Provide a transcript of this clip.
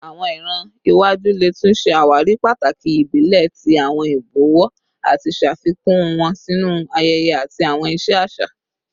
Awọn iran iwaju le tun ṣe awari pataki ibile ti awọn ibọwọ ati ṣafikun wọn sinu ayẹyẹ ati awọn iṣe aṣa